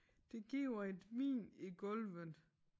Det giver et hvin i gulvet